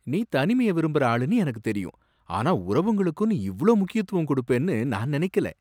நீ தனிமைய விரும்புற ஆளுன்னு எனக்குத் தெரியும், ஆனா உறவுங்களுக்கும் நீ இவ்ளோ முக்கியத்துவம் குடுப்பேன்னு நான் நனைக்கல!